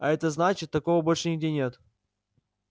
а это значит такого больше нигде нет